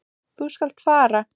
Þú skalt fara.